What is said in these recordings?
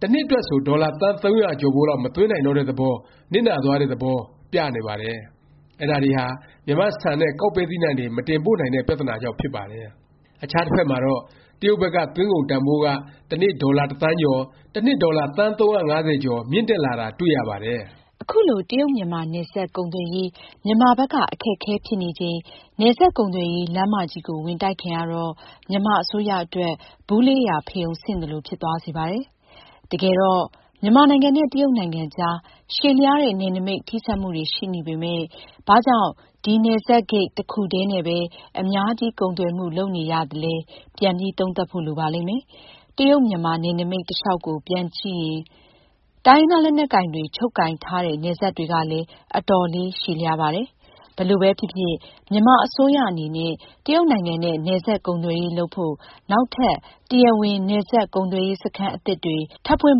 တစ်နှစ်အတွက်ဆို ဒေါ်လာ သန်း ၃၀၀ ကျော်ဖိုးလောက် မသွင်းနိုင်တော့တဲ့ သဘော၊ နစ်နာသွားတဲ့ သဘော ပြနေပါတယ်။ အဲဒါတွေဟာ မြန်မာ့ ဆန်နဲ့ ကောက်ပဲ သီးနှံတွေ မတင်ပို့နိုင်တဲ့ ပြသနာကြောင့် ဖြစ်ပါတယ်။ အခြားတစ်ဖက်မှာတော့ တရုတ်ဘက်က သွင်းကုန်တန်ဘိုးက တစ်နေ့ ဒေါ်လာ တစ်သန်းကျော်၊ တစ်နှစ် ဒေါ်လာ သန်း ၃၅၀ကျော် မြင့်တက်လာတာ တွေ့ရပါတယ်။ အခုလို တရုတ်- မြန်မာ နယ်စပ်ကုန်သွယ်ရေး၊ မြန်မာဘက်က အခက်အခဲ ဖြစ်နေချိန် နယ်စပ်ကုန်သွယ်ရေး လမ်းမကြီးကို ဝင်တိုက်ခံရတော့ မြန်မာအစိုးရအတွက် ဗူးလေးရာ ဖရုံဆင့်သလို ဖြစ်သွားစေပါတယ်။ တကယ်တော့ မြန်မာနိုင်ငံနဲ့ တရုတ်နိုင်ငံအကြား ရှည်လျားတဲ့ နယ်နိမိတ် ထိစပ်မှုတွေ ရှိနေပေမယ့် ဘာကြောင့် ဒီ နယ်စပ်ဂိတ် တစ်ခုတည်းနဲ့ပဲ အများကြီး ကုန်သွယ်မှု လုပ်နေရသလဲ ပြန်ပြီး သုံးသပ်ဖို့ လိုပါလိမ့်မယ်။ တရုတ်- မြန်မာ နယ်နိမိတ် တလျောက်ကို ပြန်ကြည့်ရင် တိုင်းရင်းသား လက်နက်ကိုင်တွေ ချုပ်ကိုင်ထားတဲ့ နယ်စပ်တွေကလည်း အတော်လေး ရှည်လျားပါတယ်။ ဘယ်လိုပဲဖြစ်ဖြစ် မြန်မာအစိုးရအနေနဲ့ တရုတ်နိုင်ငံနဲ့ နယ်စပ် ကုန်သွယ်ရေး လုပ်ဖို့ နောက်ထပ် တရားဝင် နယ်စပ် ကုန်သွယ်ရေး စခန်း အသစ်တွေ ထပ်ဖွင့်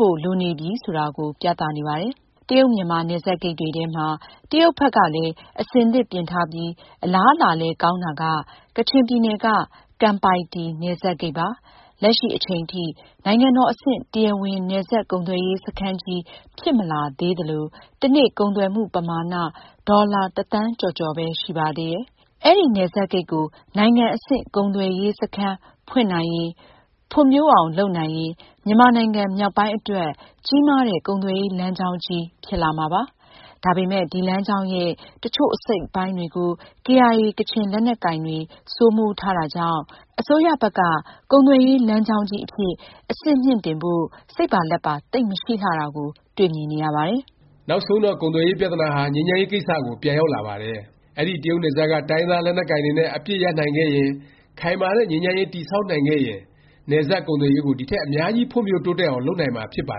လို့ လိုနေပြီ ဆိုတာကို ပြသ နေပါတယ်။ တရုတ်- မြန်မာ နယ်စပ်ဂိတ်တွေထဲမှာ တရုတ်ဘက်ကလည်း အဆင်သင့်ပြင်ထားပြီး အလားအလာလည်း ကောင်းတာက ကချင်ပြည်နယ်က ကမ်ပိုင်တီ နယ်စပ်ဂိတ်ပါ။ လက်ရှိ အချိန်ထိ နိုင်ငံတော် အဆင့် တရားဝင် နယ်စပ် ကုန်သွယ်ရေး စခန်းကြီး ဖြစ်မလာသေးသလို တစ်နေ့ ကုန်သွယ်မှု ပမာဏ ဒေါ်လာ တစ်သန်းကျော်ကျော်ပဲ ရှိပါသေးတယ်။ အဲဒီ နယ်စပ်ဂိတ်ကို နိုင်ငံအဆင့် ကုန်သွယ်ရေး စခန်း ဖွင့်နိုင်ရင်၊ ဖွံ့ဖြိုးအောင် လုပ်နိုင်ရင် မြန်မာနိုင်ငံ မြောက်ပိုင်းအတွက် ကြီးမားတဲ့ ကုန်သွယ်ရေး လမ်းကြောင်းကြီး ဖြစ်လာမှာပါ။ ဒါပေမယ့် ဒီလမ်းကြောင်းရဲ့ တစ်ချို့ အစိတ်အပိုင်းတွေကို ကေအိုင်အေ ကချင်လက်နက်ကိုင်တွေ စိုးမိုးထားတာကြောင့် အစိုးရဘက်က ကုန်သွယ်ရေး လမ်းကြောင်းကြီးအဖြစ် အဆင့်မြှင့်တင်ဖို့ စိတ်ပါလက်ပါ သိပ်မရှိလှတာလည်း တွေ့မြင်နေရပါတယ်။ နောက်ဆုံးတော့ ကုန်သွယ်ရေး ပြသနာဟာ ငြိမ်းချမ်းရေး ကိစ္စကို ပြန်ရောက်လာပါတယ်။ အဲဒီ တရုတ်နယ်စပ်က တိုင်းရင်းသား လက်နက်ကိုင်တွေနဲ့ အပစ်ရပ်နိုင်ခဲ့ရင်၊ ခိုင်မာတဲ့ ငြိမ်းချမ်းရေး တည်ဆောက်နိုင်ခဲ့ရင် နယ်စပ်ကုန်သွယ်ရေးကို ဒီထက် အများကြီး ဖွံ့ဖြိုးတိုးတက်အောင် လုပ်နိုင်မှာ ဖြစ်ပါ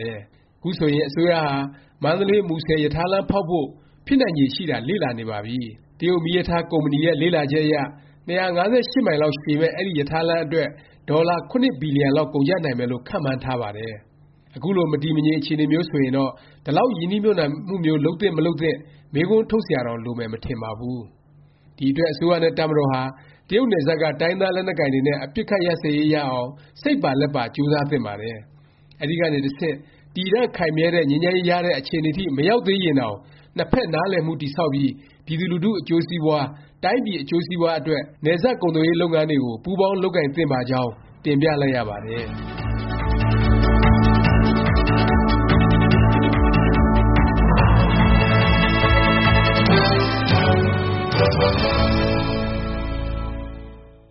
တယ်။ ခုဆိုရင် အစိုးရဟာ မန္တလေး- မူဆယ် ရထားလမ်း ဖေါက်ဖို့ ဖြစ်နိုင်ခြေ ရှိတာ လေ့လာနေပါပြီ။ ChinaRailway Eryuan Engineering Group Co.,Ltd. ရဲ့ လေ့လာချက်အရ ၂၅၈ မိုင်လောက် ရှည်မယ့် အဲဒီ ရထားလမ်းအတွက် ဒေါ်လာ ၇ ဘီလျံလောက် ကုန်ကျနိုင်မယ်လို့ ခန့်မှန်းထားပါတယ်။ အခုလို မတည်မငြိမ် အခြေအနေမျိုး ဆိုရင်တော့ ဒီလောက် ရင်းနှီးမြှုပ်နှံမှုမျိုး လုပ်သင့် မလုပ်သင့် မေးခွန်းထုတ်စရာတောင် လိုမယ် မထင်ပါဘူး။ ဒီအတွက် အစိုးရနဲ့ တပ်မတော်ဟာ တရုတ်နယ်စပ်က တိုင်းရင်းသား လက်နက်ကိုင်တွေနဲ့ အပစ်အခတ်ရပ်စဲရေး ရအောင် စိတ်ပါလက်ပါ ကြိုးစားသင့်ပါတယ်။ အဲဒီကနေ တဆင့် တည်တန့်ခိုင်မြဲတဲ့ ငြိမ်းချမ်းရေး ရတဲ့ အခြေအနေထိ မရောက်သေးရင်တောင် နှစ်ဖက် နားလည်မှု တည်ဆောက်ပြီး ပြည်သူလူထု အကျိုးစီးပွား၊ တိုင်းပြည် အကျိုးစီးပွားအတွက် နယ်စပ် ကုန်သွယ်ရေး လုပ်ငန်းတွေကို ပူးပေါင်း လုပ်ကိုင်သင့်ပါကြောင်း တင်ပြလိုက်ရပါတယ်။